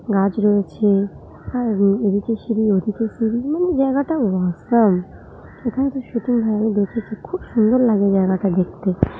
গাছ রয়েছেআর এদিকে সিঁড়ি ওদিকে সিঁড়ি মানে জায়গা টা অসম এখানে শুটিং হয় আমি দেখেছি খুব সুন্দর লাগে জায়গাটা দেখতে।